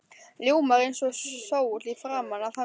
Ljómar eins og sól í framan af hamingju.